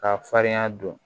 K'a farinya don